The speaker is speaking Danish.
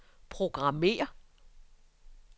programmér